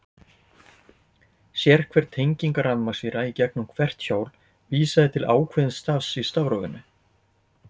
Sérhver tenging rafmagnsvíra í gegnum hvert hjól vísaði til ákveðins stafs í stafrófinu.